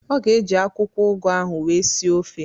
Ọ ga-eji akwụkwọ ụgụ ahụ wee sie ofe